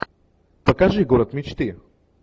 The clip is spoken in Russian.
покажи город мечты